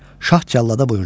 Şah cəllada buyurdu.